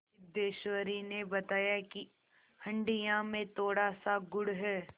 सिद्धेश्वरी ने बताया कि हंडिया में थोड़ासा गुड़ है